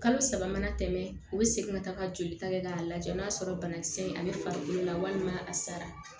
Kalo saba mana tɛmɛ u bɛ segin ka taa ka jolita kɛ k'a lajɛ n'a sɔrɔ banakisɛ in ale farikolo la walima a sara